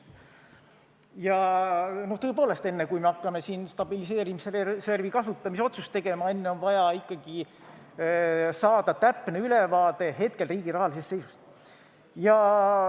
Ja no tõepoolest, enne kui hakkame siin stabiliseerimisreservi kasutamise otsust tegema, on ikkagi vaja saada täpne ülevaade riigi hetke rahalisest seisust.